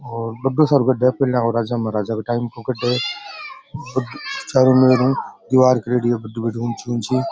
बड़ो सारो गढ़ राजा महाराजा के टाइम को चारो मेर दिवार करेड़ी है ऊँची ऊँची --